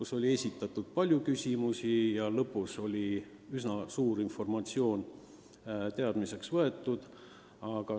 Seal esitati palju küsimusi ja lõpuks saime palju informatsiooni teadmiseks võtta.